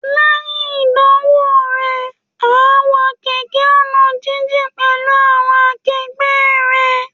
Lẹ́yìn ìdánwò rẹ̀, á wa kẹ̀kẹ́ ọ̀nà jíjìn pẹ̀lú àwọn akegbẹ́ rẹ̀